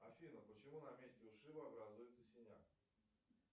афина почему на месте ушиба образуется синяк